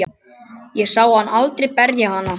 Ég sá hann aldrei berja hana.